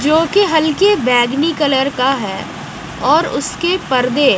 जो कि हल्के बैगनी कलर का है और उसके पर्दे--